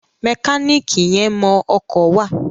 Mẹkáníìkì yẹn mọ ọkọ̀ wà.